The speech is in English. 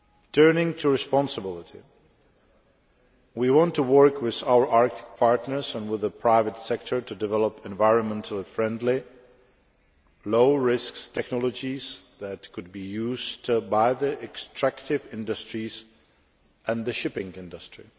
Turning to responsibility we want to work with our Arctic partners and with the private sector to develop environmentally friendly, low risk technologies that could be used by the extractive industries and the shipping industry.